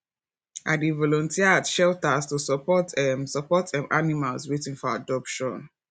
i dey volunteer at shelters to support um support um animals waiting for adoption